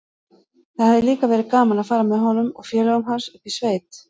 Það hefði líka verið gaman að fara með honum og félögum hans upp í sveit.